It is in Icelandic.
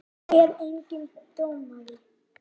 Er enginn dómari?